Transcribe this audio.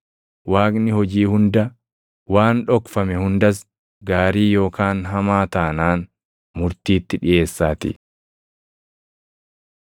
Waaqni hojii hunda, waan dhokfame hundas gaarii yookaan hamaa taanaan murtiitti dhiʼeessaatii.